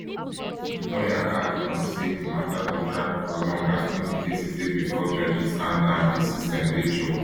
di lawyer add um say di mata go drag for long as plenty cases dey bifor judges and and di system dey choked